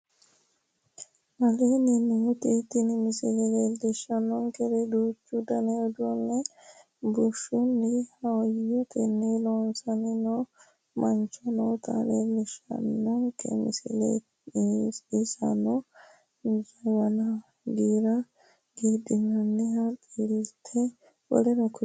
Aleenni nooti tini misile leellishaankeri duuchu danni uduunne bushshunni hayyotenni loosanni noo mancho noota leellishaanke misileeti inssano jawana, giira giidhinannirenna xilite W.k.l....